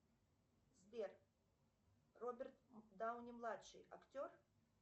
сбер роберт дауни младший актер